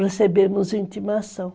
Recebemos intimação.